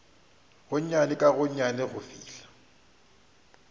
gonnyane ka gonnyane go fihla